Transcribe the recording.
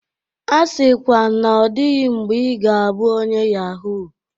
A sịkwa na ọ dịghị mgbe ị ga-abụ onye yahoo!